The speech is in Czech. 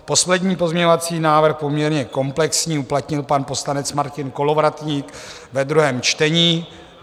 Poslední pozměňovací návrh, poměrně komplexní, uplatnil pan poslanec Martin Kolovratník ve druhém čtení.